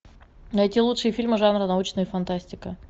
найти лучшие фильмы жанра научная фантастика